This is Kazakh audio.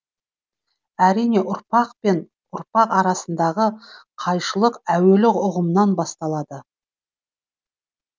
әрине ұрпақ пен ұрпақ арасындағы қайшылық әуелі ұғымнан басталады